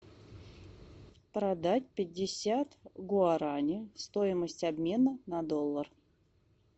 продать пятьдесят гуараней стоимость обмена на доллар